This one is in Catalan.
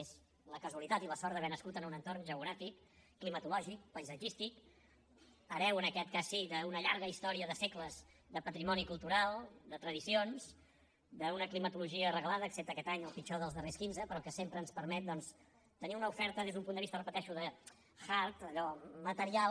és la casualitat i la sort d’haver nascut en un entorn geogràfic climatològic paisatgístic hereu en aquest cas sí d’una llarga història de segles de patrimoni cultural de tradicions d’una climatologia reglada excepte aquest any el pitjor dels darrers quinze però que sempre ens permet doncs tenir una oferta des d’un punt de vista ho repeteixo de hard allò material